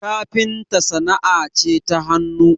kafinta sana'a ce ta hannu